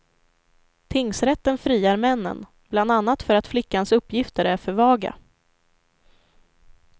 Tingsrätten friar männen, bland annat för att flickans uppgifter är för vaga.